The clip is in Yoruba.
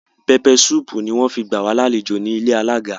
Peppe sùpu ni wọn fi gba wa làléjo ni ìlé àlaga